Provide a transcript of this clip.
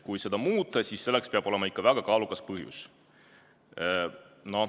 Kui seda muuta, siis selleks peab olema ikka väga kaalukas põhjus.